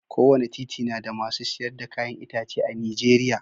kowane titi nada masu siyar da kayan itace a nijeriya